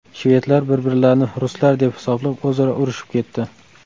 Shvedlar bir-birlarini ruslar deb hisoblab o‘zaro urishib ketdi.